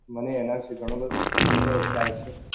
મને એના વિશે ગણો બધો ગણો ખરો ખયાલ છે.